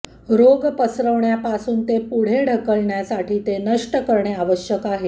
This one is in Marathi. रोग पसरवण्यापासून ते पुढे ढकलण्यासाठी ते नष्ट करणे आवश्यक आहे